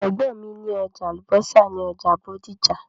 Ẹ̀gbọ́n mi ní ọjà àlùbọ́sà ní ọjà Bódìjà.